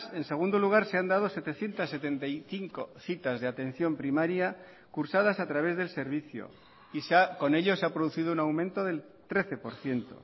en segundo lugar se han dado setecientos setenta y cinco citas de atención primaria cursadas a través del servicio y con ello se ha producido un aumento del trece por ciento